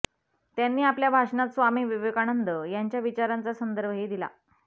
त्यांनी आपल्या भाषणात स्वामी विवेकानंद यांच्या विचारांचा संदर्भही दिला